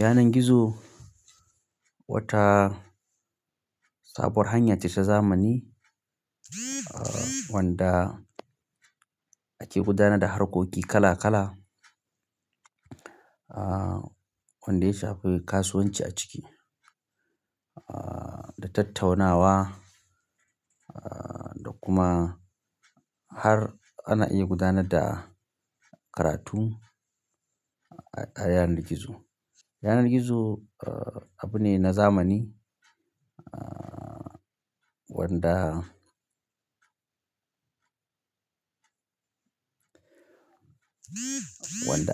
Yanar gizo wata sabuwar hanya ce ta zamani wanda ake gudanar da harkoki kala kala, wanda ya shafi kasuwanci a ciki da tattaunawa da kuma har ana iya gudanar da karatu a yanar gizo. Yanar gizo abu ne na zamani wanda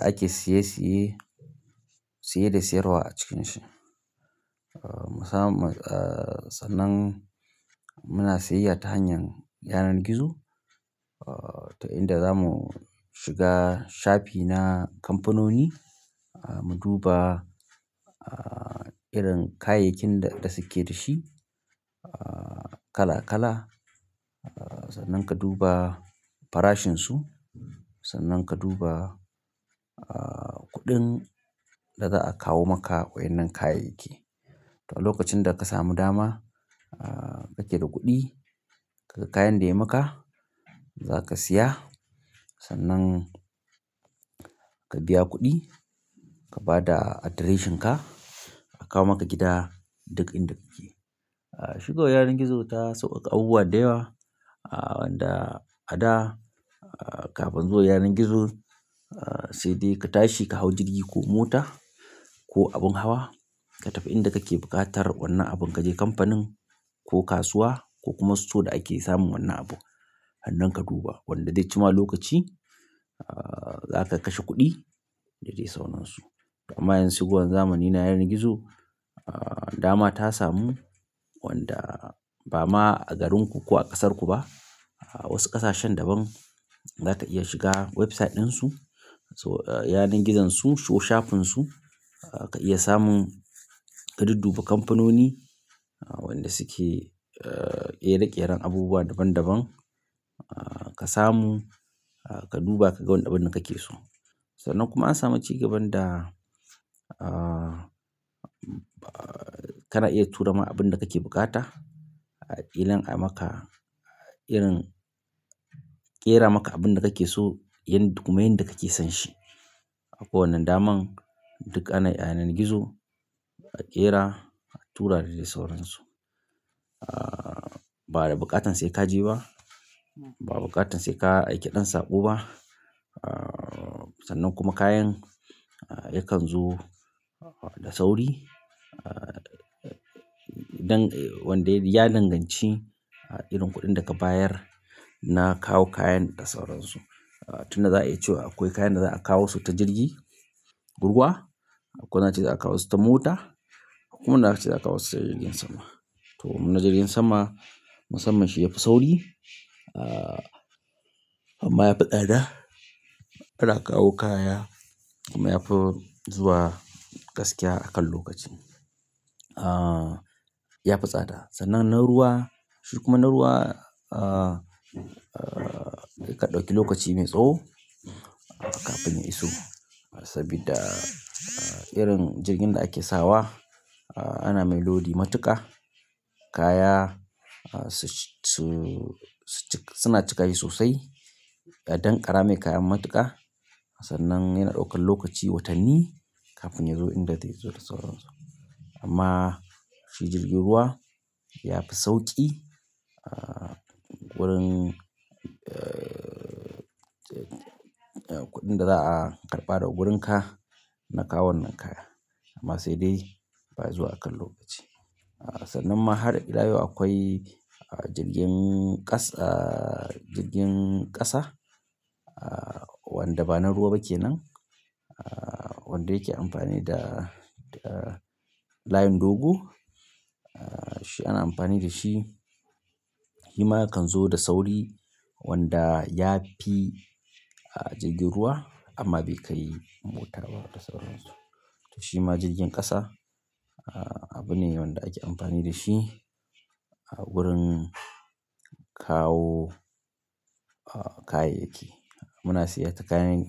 ake saye saye, saye da sayarwa a cikinsa. Sannan muna sayayya ta hanyar yanar gizo. Ta inda zamu shiga shafi na kamfanoni, mu duba irin kayayyakin da suke da shi kala kala. Sannan ka duba farashinsu, sannan ka duba kuɗin da za a kawo maka waɗannan kayayyaki. To a lokacin da ka samu dama, ka ke da kuɗi, ka ga kayan da ya maka za ka siya sannan ka biya kuɗi, ka ba da adireshinka a kawo maka gida duk inda kike. Shi kawai yanar gizo ta sauƙaƙa abubuwa da yawa na haɗa haɗa kafun zuwan yanar gizo sai dai katashi ka hau jirgi ko mota ko abun hawa katafi inda kake buƙatar wannan abun. Ka je kamfanin ko kasuwa ko kuma su store da, ake samun wannan abu. Hannun ka duba wanda zai ci ma lokaci, za ka kashe kuɗi da dai sauransu. Amm yanzu shigo zamani na yanar gizo dama tasamu wanda bama agarinku ko a kasrku ba wasu ƙasashen daban za ka iya shiga website ɗinsu. So, yanar gizon su, show shafin su ka iya samun, ka dudduba kamfanoni wanda suke ƙera ƙeran abubuwa daban daban. Kasamu kaduba kaga abunda kake so. Sannan kuma an sami cigaban da ah kana iya turama abunda kake bukata ajiye maka irin-- ƙera maka abin da kake so, yin duk ma yanda kake son shi. Akwai wannan daman duk a yanar gizo a ƙera a tura da dai sauransu. Ba da buƙatan sai ka je ba. Ba buƙatan sai ka aiki ɗan saƙo ba. Sannan kuma kayan yakan zo da sauri. Dan wanda ya danganci irin kuɗin da ka bayar na kawo kayan da sauransu. Tun da za a iya cewa akwai kayan da za a kawo su ta jirgi, ruwa akwai wanda ce za a kawo su ta mota. Akwai wanda akace za'akawo sai jirgin sama domin, na jirgin sama musamman shi yafi sauri. Amma yafi tsada. Ana kawo kaya kuma yafi zuwa gaskiya akan lokaci. Yafi tsada. Sannan na ruwa, shi kuma na ruwa yakan ƙadauki lokaci mai tsawo kafin ya iso. Saboda irin jirgin da ake sawa ana mai lodi matuƙa. Kaya masu shi suna cika shi sosai don ƙara mai kaya matuƙa. Sannan yana ɗaukan lokaci watanni kafin ya zo inda zai zo da sauransu. Amma shi jirgin ruwa yafi sauƙi wurin kuɗin da za a karɓa daga wurinka na kawo wannan kaya. Amma sai dai baya zuwa akan lokaci. Sannan ma har a ilayau akwai jirgin ƙasa, jirgin ƙasa wanda ba na ruwa ba kenan. Wanda yake amfani da layin dogo. Shi ana amfani da shi. Shima yakan zo da sauri wanda yafi jirgin ruwa amma bai kai mota ba da sauransu. To shima jirgin ƙasa abu ne wanda ake amfani da shi a wurin kawo kayayyaki. Muna sayar da kayayyaki.